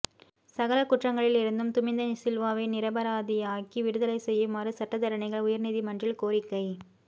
சகல குற்றங்களில் இருந்தும் துமிந்த சில்வாவை நிரபராதியாக்கி விடுதலை செய்யுமாறும் சட்டத்தரணிகள் உயர்நீதிமன்றில் கோரிக்கை